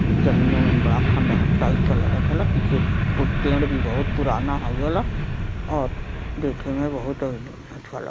जमीन अमीन बड़ा खँडहर टाइप का लागत। हवा पीछे पे पेड़ भी बहुत पुराना हौवेल और देखें में बहुत अ --